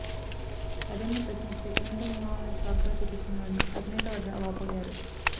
అదేమని ప్రశ్నిస్తే ఎన్నికల నియమావళిని సాకుగా చూపుతున్నారని అధినేత వద్ద వాపోయారు